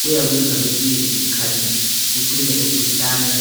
kuyakwenza kwesinye isikhathi ucine usuhlanya.